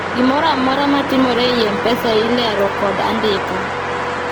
gimoro amora matimore ei mpesa ilero kod andika